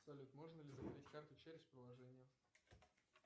салют можно ли закрыть карту через приложение